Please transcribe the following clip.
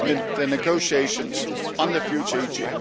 the negotiations on the future EGF.